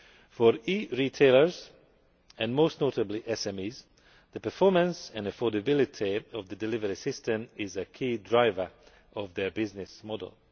For e retailers, and most notably SMEs, the performance and affordability of the delivery system is a key driver of their business